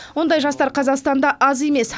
ондай жастар қазақстанда аз емес